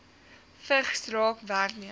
vigs raak werknemers